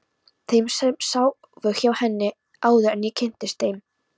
Þeim sem sváfu hjá henni, áður en ég kynntist henni.